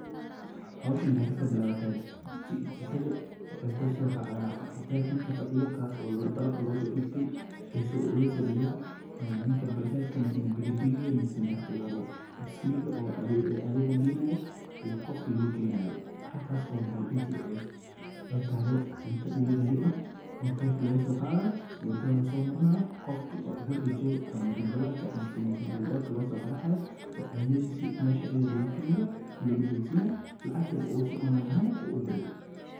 Howshan waxay kasobilawati jikadha waxay kusoracda hotelka ninka fadhiya kaaso dalabka losodibtay ee xiso losodiba ee ninka bajajka misana bikibikiga misana wadho biskiliga oo adeega geynayo ee qofka logeynayo. Halkas oo maxa ladihi jira ee ay tahdu cunta delivery hotelka lagasoqadhayo wadadha lasomarinayo qofka guriga jooga ama ganbalelka misana albabka losoqaracayo oo cunidhisu mesha ayidha logakenayo lagugudonsinaya lacagtina si online ahaan u udiray